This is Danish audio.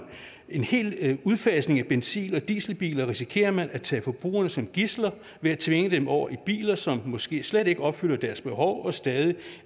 en hel udfasning af benzin og dieselbiler risikerer man at tage forbrugerne som gidsler ved at tvinge dem over i biler som måske slet ikke opfylder deres behov og stadig